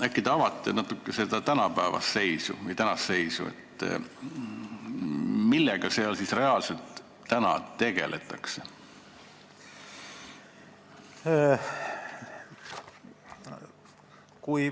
Äkki te natuke avate seda tänapäevast seisu, millega seal siis reaalselt tegeldakse?